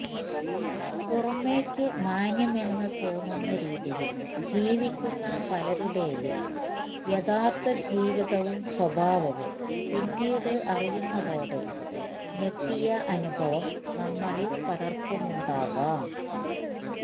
പുറമെയ്ക്കു മാന്യമെന്ന് തോന്നുന്ന രീതിയിൽ ജീവിക്കുന്ന പലരുടെയും യഥാർത്ഥ ജീവിതവും സ്വഭാവവും പിന്നീട് അറിയുന്നതോടെ ഞെട്ടിയ അനുഭവം നമ്മിൽ പലർക്കുമുണ്ടാകാം